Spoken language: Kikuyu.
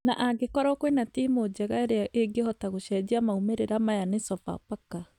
Na angĩkorwo kwĩna timũ njega ĩrĩa ĩngĩhota gũcenjia maumĩrĩra maya ni Sofapaka